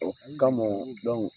Ɔ ka mɔn,